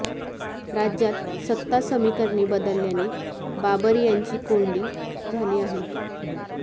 राज्यात सत्ता समीकरणे बदलल्याने बाबर यांची कोंडी झाली आहे